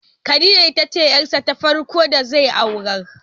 Khadiya ita ce yar sa ta farko da zai aurar